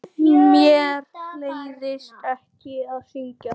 Mér leiðist ekki að syngja.